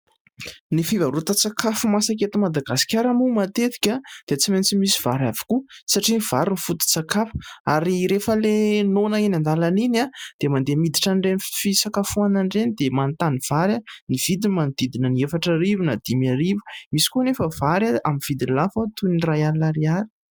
Ny fivarotan_tsakafo masaka eto Madagasikara moa matetika dia tsy maintsy misy vary avokoa satria ny vary no foto_tsakafo. Ary rehafa ilay noana eny an_dàlana iny dia mandeha miditra amin'ireny fisakafoanana ireny, dia manontany vary. Ny vidiny manodidina ny efatrarivo na dimy arivo ; misy koa ny vary amin'ny vidiny lafo toy ny iray alina ariary.